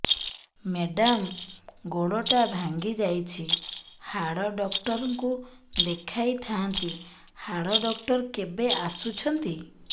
madam ଗୋଡ ଟା ଭାଙ୍ଗି ଯାଇଛି ହାଡ ଡକ୍ଟର ଙ୍କୁ ଦେଖାଇ ଥାଆନ୍ତି ହାଡ ଡକ୍ଟର କେବେ ଆସୁଛନ୍ତି